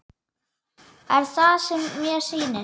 Er það sem mér sýnist?